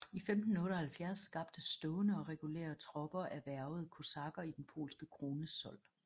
I 1578 skabtes stående regulære tropper af hvervede kosakker i den polske krones sold